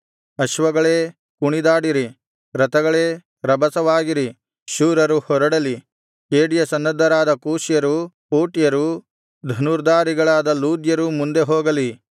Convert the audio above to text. ಅಶ್ವಗಳೇ ಕುಣಿದಾಡಿರಿ ರಥಗಳೇ ರಭಸವಾಗಿರಿ ಶೂರರು ಹೊರಡಲಿ ಖೇಡ್ಯ ಸನ್ನದ್ಧರಾದ ಕೂಷ್ಯರು ಪೂಟ್ಯರು ಧನುರ್ಧಾರಿಗಳಾದ ಲೂದ್ಯರು ಮುಂದೆ ಹೋಗಲಿ